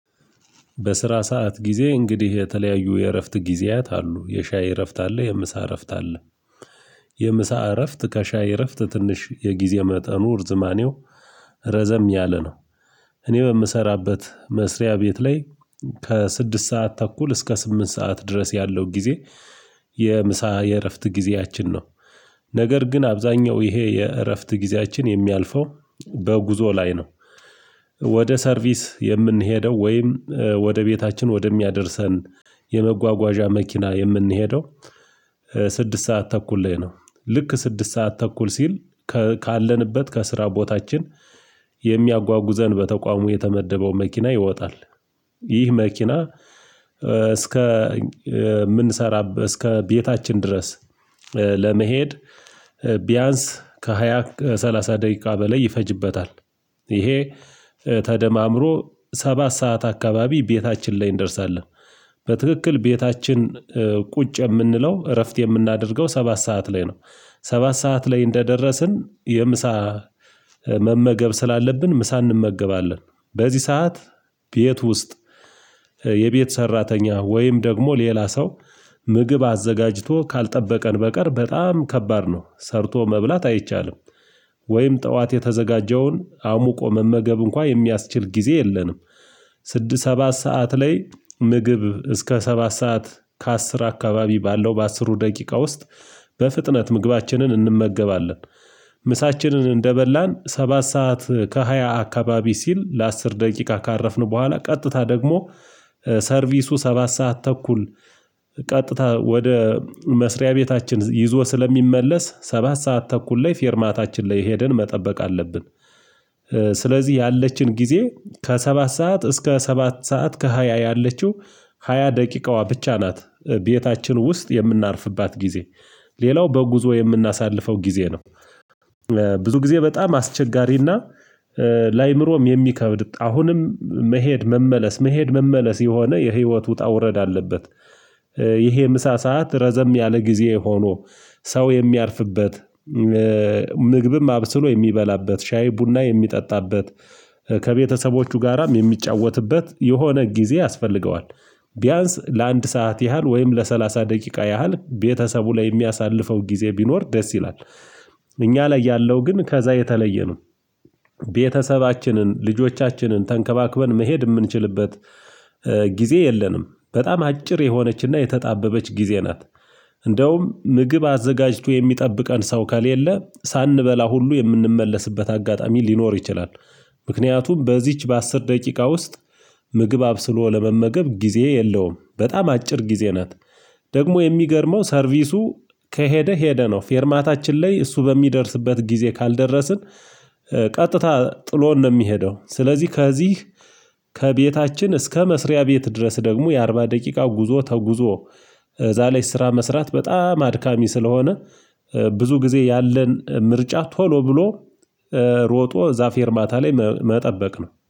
በስራ ሰዓት ጊዜ እንግዲህ የተለያዩ የእረፍት ጊዜያት አሉ የሻይ እረፍት አለ የምሳ እረፍት አለ። የምሳ እረፍት ከሻይ እረፍት ትንሽ የጊዜ መጠኑ እርዝማኔው ረዘም ያለ ነው። እኔ በምሰራበት መስሪያ ቤት ላይ ከስድስት ሰዓት ተኩል እስከ ስምንት ሰዓት ድረስ ያለው ጊዜ የምሳ የእረፍት ጊዜያችን ነው። ነገር ግን አብዛኛው ይሄ የእረፍት ጊዜያችን የሚያልፈው በጉዞ ላይ ነው። ወደ ሰርቪስ የምንሄደው ወይም ወደ ቤታችን ወደሚያደርሰን የመጓጓዣ መኪና የምንሄደው። ስድስት ሰዓት ተኩል ላይ ነው ልክ ስድስት ሰዓት ተኩል ሲል ካለንበት ከስራ ቦታችን የሚያጓጉዘን በተቋሙ የተመደበው መኪና ይወጣል። ይህ መኪና እስከ የምንሰራበት እስከ ቤታችን ድረስ ለመሄድ ቢያንስ ከሃያ ከሰላሳ ደቂቃ በላይ ይፈጅበታል። ይሄ ተደማምሮ ሰባት ሰዓት አካባቢ ቤታችን ላይ እንደርሳለን በትክክል ቤታችን ቁጭ የምንለው እረፍት የምናደርገው ሰባት ሰዓት ላይ ነው። ሰባት ሰዓት ላይ እንደደረስን የምሳ መመገብ ስላለብን ምሳ እንመገባለን በዚህ ሰዓት ቤት ውስጥ የቤት ሰራተኛ ወይም ደግሞ ሌላ ሰው ምግብ አዘጋጅቶ ካልጠበቀን በቀር በጣም ከባድ ነው ሰርቶ መብላት አይቻልም። ወይም ጠዋት የተዘጋጀውን አሙቆ መመገብ እንኳን የሚያስችል ጊዜ የለንም። ስድስት ሰባት ሰዓት ላይ ምግብ እስከ ሰባት ሰዓት ከአስር አካባቢ ባለው በአስሩ ደቂቃ ውስጥ በፍጥነት ምግባችንን እንመገባለን። ምሳችንን እንደበላን ሰባት ሰዓት ከሃያ አካባቢ ሲል ለአስር ደቂቃ ካረፍን በኋላ ቀጥታ ደግሞ ሰርቪሱ ሰባት ሰዓት ተኩል ቀጥታ ወደ መስሪያ ቤታችን ይዞን ስለሚመለስ ሰባት ሰዓት ተኩል ላይ ፌርማታችን ላይ ሄደን መጠበቅ አለብን። ስለዚህ ያለችን ጊዜ ከሰባት ሰዓት እስከ ሰባት ሰዓት ከሃያ ያለችው ሃያ ደቂቃዋ ብቻ ናት ቤታችን ውስጥ የምናርፍባት ጊዜ። ሌላው በጉዞ የምናሳልፈው ጊዜ ነው። ብዙ ጊዜ በጣም አስቸጋሪና ለአእምሮም የሚከብድ አሁንም መሄድ መመለስ መሄድ መመለስ የሆነ የህይወት ውጣ ውረድ አለበት። ይሄ ምሳ ሰዓት ረዘም ያለ ጊዜ ሆኖ ሰው የሚያርፍበት ምግብም አብስሎ የሚበላበት ሻይ ቡና የሚጠጣበት ከቤተሰቦቹ ጋራም የሚጫወትበት የሆነ ጊዜ ያስፈልገዋል ቢያንስ ለአንድ ሰዓት ያህል ወይም ለሰላሳ ደቂቃ ያህል ቤተሰቡ ላይ የሚያሳልፈው ጊዜ ቢኖር ደስ ይላል። እኛ ላይ ያለው ግን ከዛ የተለየ ነው። ቤተሰባችንን ልጆቻችንን ተንከባክበን መሄድ የምንችልበት ጊዜ የለንም በጣም አጭር የሆነችና የተጣበበች ጊዜ ናት። እንደውም ምግብ አዘጋጅቶ የሚጠብቀን ሰው ከሌለ ሳንበላ ሁሉ የምንመለስበት አጋጣሚ ሊኖር ይችላል። ምክንያቱም በዚች በአስር ደቂቃ ውስጥ ምግብ አብስሎ ለመመገብ ጊዜ የለውም በጣም አጭር ጊዜ ናት። ደግሞ የሚገርመው ሰርቪሱ ከሄደ ሄደ ነው ፌርማታችን ላይ እሱ በሚደርስበት ጊዜ ካልደረስን ቀጥታ ጥሎን ነው። የሚሄደው ስለዚህ ከዚህ ከቤታችን እስከ መስሪያ ቤት ድረስ ደግሞ የአርባ ደቂቃ ጉዞ ተጉዞ በዛ ላይ ስራ መስራት በጣም አድካሚ ስለሆነ ብዙ ጊዜ ያለን ምርጫ ቶሎ ብሎ ሮጦ እዛ ፌርማታ ላይ መጠበቅ ነው